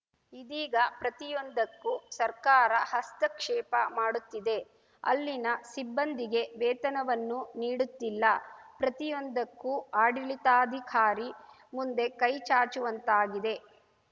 ಇದೀಗ ಪ್ರತಿಯೊಂದಕ್ಕೂ ಸರ್ಕಾರ ಹಸ್ತಕ್ಷೇಪ ಮಾಡುತ್ತಿದೆ ಅಲ್ಲಿನ ಸಿಬ್ಬಂದಿಗೆ ವೇತನವನ್ನೂ ನೀಡುತ್ತಿಲ್ಲ ಪ್ರತಿಯೊಂದಕ್ಕೂ ಆಡಳಿತಾಧಿಕಾರಿ ಮುಂದೆ ಕೈ ಚಾಚುವಂತಾಗಿದೆ